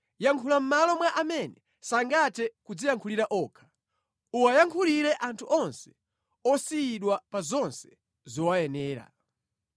Yankhula mʼmalo mwa amene sangathe kudziyankhulira okha. Uwayankhulire anthu onse osiyidwa pa zonse zowayenera.